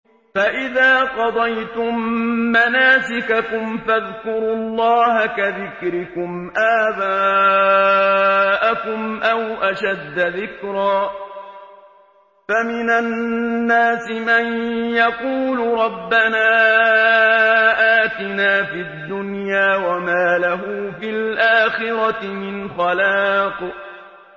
فَإِذَا قَضَيْتُم مَّنَاسِكَكُمْ فَاذْكُرُوا اللَّهَ كَذِكْرِكُمْ آبَاءَكُمْ أَوْ أَشَدَّ ذِكْرًا ۗ فَمِنَ النَّاسِ مَن يَقُولُ رَبَّنَا آتِنَا فِي الدُّنْيَا وَمَا لَهُ فِي الْآخِرَةِ مِنْ خَلَاقٍ